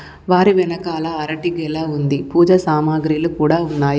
వారి వెనకాల అరటి గెల ఉంది. పూజ సామాగ్రిలు కూడా ఉన్నాయి.